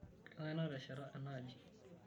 Kengai natesheta ena aji?